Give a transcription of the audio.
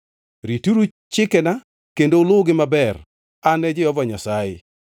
“Rituru chikena kendo uluwgi maber. An e Jehova Nyasaye.